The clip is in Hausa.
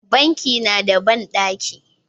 Banki na da banɗaki